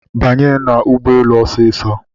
Banye n'ụgbọelu osiso